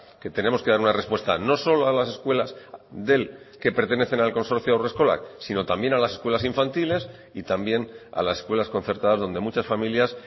que tenemos que dar una respuesta no solo a las escuelas del que pertenecen al consorcio haurreskolak sino también a las escuelas infantiles y también a las escuelas concertadas donde muchas familias